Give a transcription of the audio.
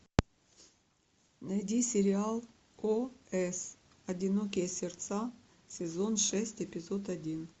найди сериал о с одинокие сердца сезон шесть эпизод один